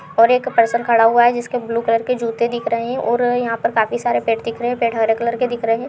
और ये एक पर्सन खड़ा हुआ है जिसके ब्लू कलर के जूते दिख रहे हैं और यहां पर काफ़ी सारे पेड़ दिख रहे हैं। पेड़ हरे कलर के दिख रहे हैं।